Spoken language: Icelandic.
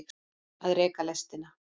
Að reka lestina